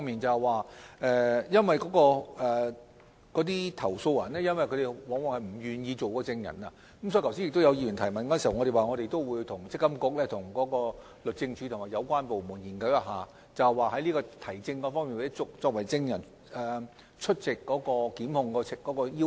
由於投訴人往往不願意出任證人，就議員剛才的提問，我們已表示會與積金局、律政司及有關部門進行研究，檢討舉證或證人出庭方面的要求。